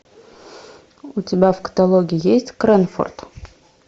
у тебя в каталоге есть крэнфорд